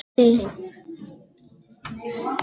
Hún hefur orð á því.